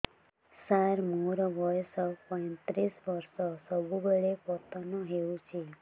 ସାର ମୋର ବୟସ ପୈତିରିଶ ବର୍ଷ ସବୁବେଳେ ପତନ ହେଉଛି